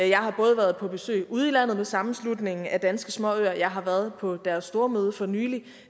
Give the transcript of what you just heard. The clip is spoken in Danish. jeg har både været på besøg ude i landet med sammenslutningen af danske småøer og jeg har været på deres stormøde for nylig